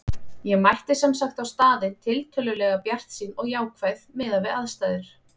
Ég mætti sem sagt á staðinn tiltölulega bjartsýn og jákvæð miðað við aðstæður.